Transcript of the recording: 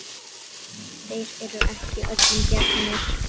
Þeir eru ekki öllum gefnir.